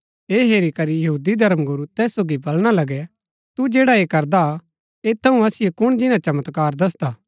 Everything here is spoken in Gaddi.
ऐह हेरी करी यहूदी धर्मगुरू तैसिओ बळणा लगै तू जैडा ऐ करदा ता ऐत थऊँ असिओ कुण जिन्‍ना चमत्कार दसदा